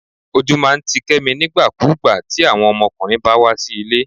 ojú máà ń tí kemí nígbàkúgbà ti awon ọmọkùnrin bá wá sí ilé